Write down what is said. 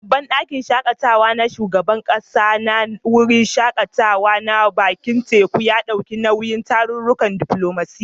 Babban ɗakin shaƙatawa na shugaban ƙasa na wurin shaƙatawa na bakin teku, ya ɗauki nauyin tarurrukan diflomasiyya.